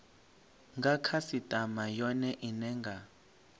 nga khasitama yone ine nga